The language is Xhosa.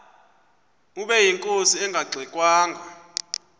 ubeyinkosi engangxe ngwanga